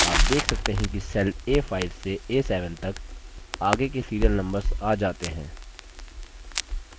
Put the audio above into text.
आप देख सकते हैं कि cells a5 से a7 तक आगे के serial numbers आ जाते हैं